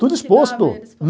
Tudo exposto.